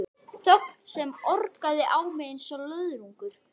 Þögn sem orkaði á mig einsog löðrungur.